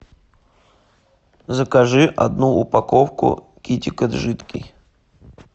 закажи одну упаковку китикет жидкий